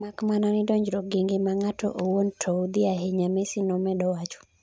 mak mana ni donjruok gi ngima ng'ato owuon to udhi ahinya,'Messi nomedo wacho